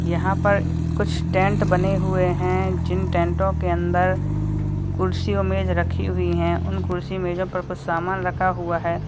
यहां पर कुछ टेंट बने हुए हैं जिन टेंटो के अंदर कुर्सी और मेज रखी हुई है उन कुर्सी मेंजो पर कुछ सामान रखा हुआ है।